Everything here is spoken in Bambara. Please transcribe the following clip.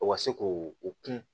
O ka se k'o o kun